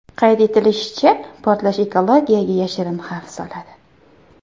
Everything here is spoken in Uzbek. Qayd etilishicha, portlash ekologiyaga yashirin xavf soladi.